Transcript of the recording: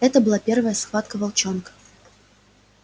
это была первая схватка волчонка